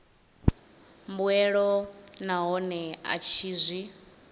mbuelo nahone a tshi zwi